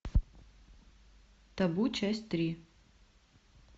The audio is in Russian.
табу часть три